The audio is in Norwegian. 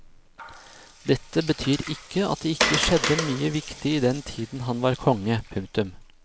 Dette betyr ikke at det ikke skjedde mye viktig i den tiden han var konge. punktum